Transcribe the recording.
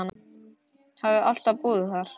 Hafði alltaf búið þar.